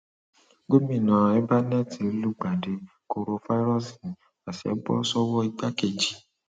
gomina ẹbánẹẹtì lùgbàdì korofairọọsì àsè bọ sọwọ igbákejì